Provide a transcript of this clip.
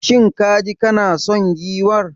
Shin kaji kana son giwar?